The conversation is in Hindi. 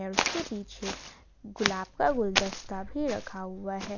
और इसके पीछे गुलाब का गुलदस्ता भी रखा हुआ है।